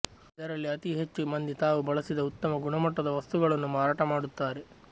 ಇದರಲ್ಲಿ ಅತೀ ಹೆಚ್ಚು ಮಂದಿ ತಾವು ಬಳಸಿದ ಉತ್ತಮ ಗುಣಮಟ್ಟದ ವಸ್ತುಗಳನ್ನು ಮಾರಾಟ ಮಾಡುತ್ತಾರೆ